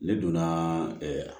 Ne donna ɛɛ